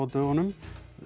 dögunum